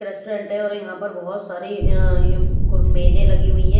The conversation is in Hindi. रेस्टोरेंट है और यहाँ पर बहुत सारी अ ए य मेजें लगी हुई है।